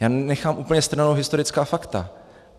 Já nechám úplně stranou historická fakta.